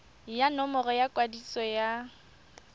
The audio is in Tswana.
ya nomoro ya kwadiso ya